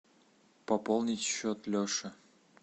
пополнить счет леши